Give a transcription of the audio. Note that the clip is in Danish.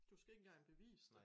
Du skal ikke engang bevise det